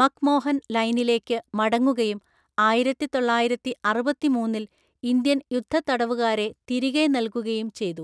McMahon ലൈനിലേക്ക് മടങ്ങുകയും ആയിരത്തിതൊള്ളായിരത്തിഅറുപത്തിമൂന്നില്‍ ഇന്ത്യൻ യുദ്ധത്തടവുകാരെ തിരികെ നൽകുകയും ചെയ്തു.